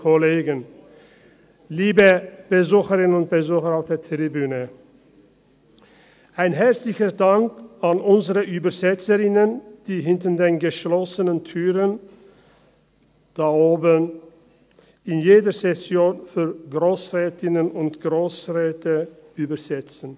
Einen herzlichen Dank an unsere Übersetzerinnen, die hinter den geschlossenen Türen, dort oben, jede Session für Grossrätinnen und Grossräte übersetzen.